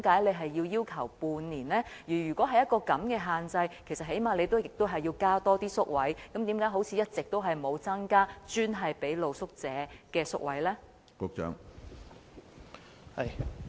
即使要施加這種限制，當局最低限度也要增加宿位，但為何一直都沒有增加專為露宿者提供的宿位？